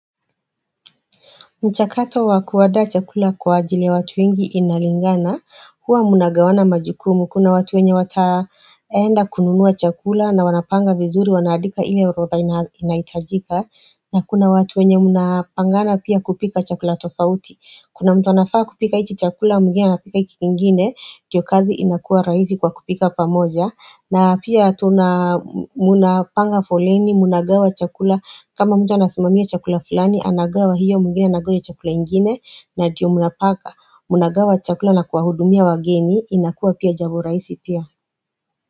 Mchakato wa kuandaa chakula kwa ajili ya watu wengi inalingana, huwa munagawana majukumu, kuna watu wenye wataenda kununua chakula na wanapanga vizuri wanaandika ile orodha inahitajika, na kuna watu wenye munapangana pia kupika chakula tofauti. Kuna mtu anafaa kupika hiki chakula mwingine anapika hiki kingine ndo kazi inakuwa rahisi kwa kupika pamoja na pia tuna munapanga foleni munagawa chakula kama mtu anasimamia chakula fulani anagawa hiyo mwingine anagawa hiyo chakula ingine na ndio munapaka Munagawa chakula na kuwahudumia wageni inakuwa pia jambo rahisi pia.